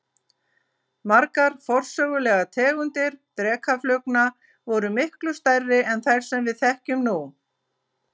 Margar forsögulegar tegundir drekaflugna voru miklu stærri en þær sem við þekkjum nú.